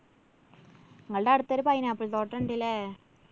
ഇങ്ങള്‍ടെ അടുത്തൊരു pineapple തോട്ടണ്ട് ഇല്ലേ?